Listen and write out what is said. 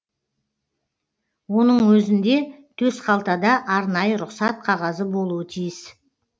оның өзінде төсқалтада арнайы рұқсат қағазы болуы тиіс